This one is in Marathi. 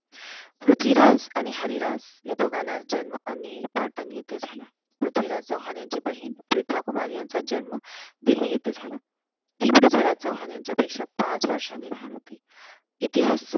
पृथ्वीराज आणि हरिराज ह्या दोघांचा जन्म अनहील पाटन येते झाला. पृथ्वीराज चौहान यांची बहीण प्रिताकुमारी यांचा जंन्म दिल्ली येथे झाला. ती पृथ्वीराज चौहान यांच्यापेक्षा पाच वर्षांनी लहान होती. इतिहासात